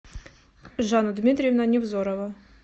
жанна дмитриевна невзорова